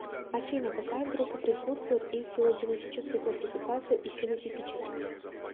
афина какая группа присутствует и в филогенетической классификации и в фенотипической